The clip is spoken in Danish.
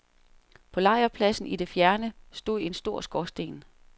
På lejrpladsen i det fjerne stod en stor skorsten.